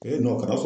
kara fɔ